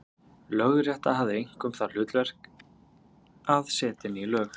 Lögrétta hafði einkum það hlutverk að setja ný lög.